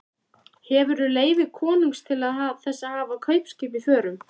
Hefurðu leyfi konungs til þess að hafa kaupskip í förum?